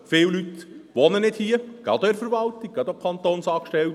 Viele Personen wohnen nicht hier, gerade jene der Verwaltung, gerade Kantonsangestellte.